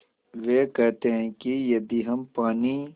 वे कहते हैं कि यदि हम पानी